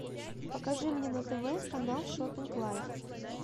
покажи мне на тв канал шопинг лайф